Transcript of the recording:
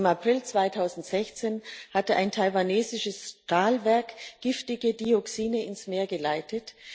Im April 2016 hatte ein taiwanesisches Stahlwerk giftige Dioxine ins Meer geleitet.